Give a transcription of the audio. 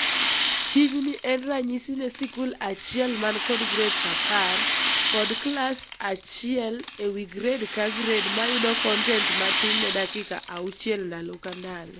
Tijni en ranyisi ne sikul achiel man kod grades apar kod class achiel ewii grade ka grade mayudo kontent matin ne dakika auchiel ndalo kandalo.